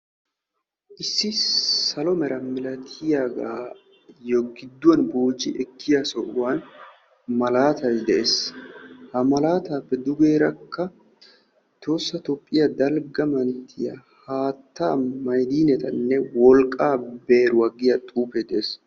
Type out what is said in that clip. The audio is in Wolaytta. Issi salo mera milatiyagaayyo gidduwan booji ekkiya sohuwan malaatayi de'es. Ha makaataappe dugeerakka tohoossa toophiya dalgga manttiya haattaa, maydinetanne, wolqqaa beeruwa giya xuufee de'es.